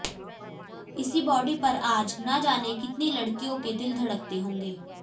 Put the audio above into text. इसी बॉडी पर आज न जाने कितनी लड़कियों के दिल धड़कते होंगे